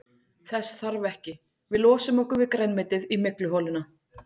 Þess þarf ekki, við losum okkur við grænmetið í mygluholuna.